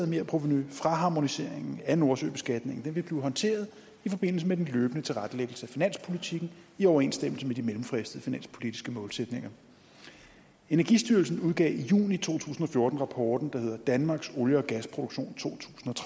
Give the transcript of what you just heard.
merprovenu fra harmoniseringen af nordsøbeskatningen blive håndteret i forbindelse med den løbende tilrettelæggelse af finanspolitikken i overensstemmelse med de mellemfristede finanspolitiske målsætninger energistyrelsen udgav i juni to tusind og fjorten rapporten der hedder danmarks olie og gasproduktion to